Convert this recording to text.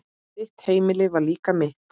Þitt heimili var líka mitt.